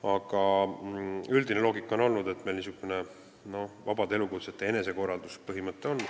Aga üldine loogika on, et meil on vabade elukutsete enesekorralduse põhimõte.